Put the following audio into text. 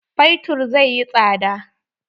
Fetur zai yi tsada.